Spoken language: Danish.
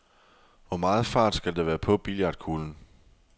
Hvor meget fart skal der være på billiardkuglen?